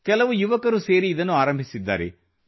ಕೆಲವು ಯುವಕರು ಸೇರಿ ಇದನ್ನು ಆರಂಭಿಸಿದ್ದಾರೆ